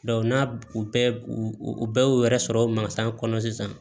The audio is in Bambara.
n'a u bɛɛ u bɛɛ y'u yɛrɛ sɔrɔ kɔnɔ sisan